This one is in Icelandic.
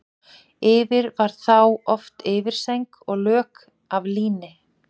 Yfir var þá oft yfirsæng og lök af líni.